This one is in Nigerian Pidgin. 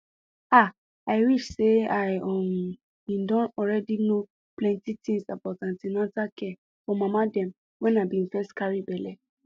ah i wish say i um been don already know plenty things about an ten atal care for mama dem wen i been first carry belle